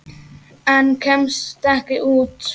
En kemst ekki út.